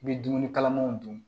I bɛ dumuni kalaman dun